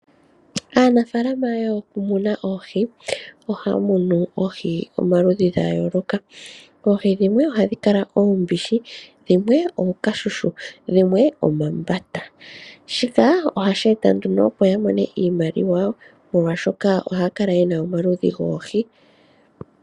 Aanafaalama yokumuna oohi ohaa munu oohi omaludhi nomaludhi. Oohi dhimwe ohadhi kala oombishi , ookashushu, oombata nadhilwe. Shika ohashi ya etele iiyemo molwa omaludhi goohi ngaka.